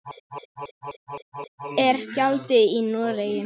Hæst er gjaldið í Noregi.